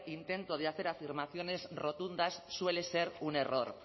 intento de hacer afirmaciones rotundas suele ser un error